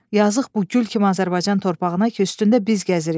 Yazıq bu gül kimi Azərbaycan torpağına ki, üstündə biz gəzirik.